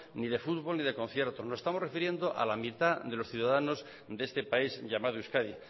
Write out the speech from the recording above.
ni de fútbol ni de concierto nos estamos refiriendo a la mitad de los ciudadanos de este país llamado euskadi